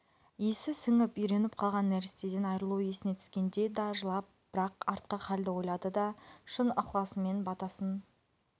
иісі сіңіп үйреніп қалған нәрестеден айрылу есіне түскенде да жылап бірақ артқы халді ойлады да шын ықласымен батасын